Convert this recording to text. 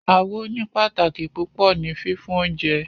Awo ní pàtàkì púpọ ni fífún oúnjẹ